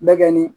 Bɛ kɛ ni